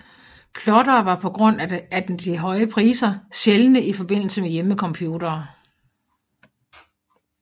Plottere var på grund af den høje prise sjældne i forbindelse med hjemmecomputere